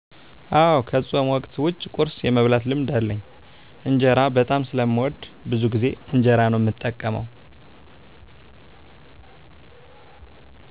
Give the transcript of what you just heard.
አወ ከፆም ወቅት ዉጭ ቁርስ የመብላት ልምድ አለኝ። እንጀራ በጣም ስለምወድ ብዙ ጊዜ እንጀራ ነው እምጠቀመው።